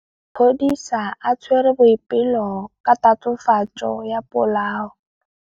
Maphodisa a tshwere Boipelo ka tatofatsô ya polaô.